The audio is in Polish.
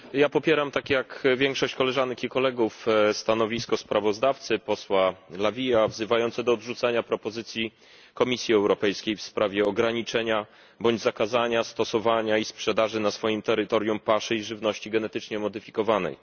Popieram, tak jak większość koleżanek i kolegów, stanowisko sprawozdawcy, posła La Vii, wzywające do odrzucenia wniosku Komisji Europejskiej w sprawie ograniczenia bądź zakazania stosowania i sprzedaży na swoim terytorium paszy i żywności genetycznie zmodyfikowanej.